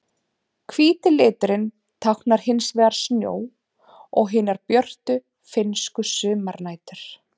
Hvíti liturinn táknar hins vegar snjó og hinar björtu finnsku sumarnætur.